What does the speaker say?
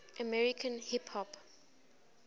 american hip hop